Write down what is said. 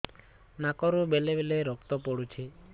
ନାକରୁ ବେଳେ ବେଳେ ରକ୍ତ ପଡୁଛି